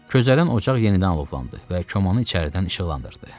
Közərən ocaq yenidən alovlandı və komanın içəridən işıqlandırdı.